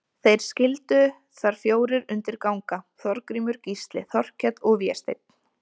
Þeir skyldu þar fjórir undir ganga, Þorgrímur, Gísli, Þorkell og Vésteinn.